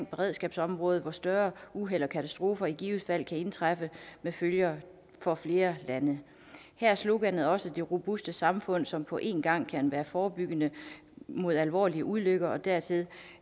beredskabsområdet hvor større uheld og katastrofer i givet fald kan indtræffe med følger for flere lande her er sloganet også det robuste samfund som på én gang kan være forebyggende mod alvorlige ulykker og dertil